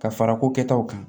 Ka fara ko kɛtaw kan